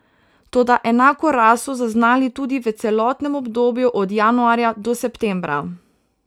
Toda enako rast so zaznali tudi v celotnem obdobju od januarja do septembra.